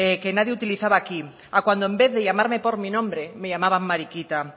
que nadie utilizaba aquí a cuando en vez de llamarme por mi nombre me llamaban mariquita